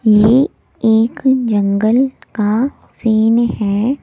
ये एक जंगल का सीन है।